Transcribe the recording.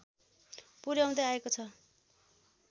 पुर्‍याउँदै आएको छ